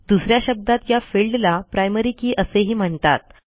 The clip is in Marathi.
दुस या शब्दात या फिल्डला प्रायमरी के असेही म्हणतात